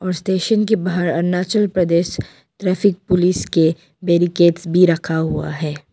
Station के बाहर Arunachal Pradesh traffic police के बैरिकेड्स भी रखा हुआ है।